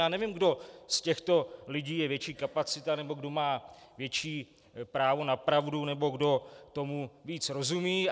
Já nevím, kdo z těchto lidí je větší kapacita nebo kdo má větší právo na pravdu nebo kdo tomu víc rozumí.